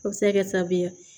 O bɛ se ka kɛ sababu ye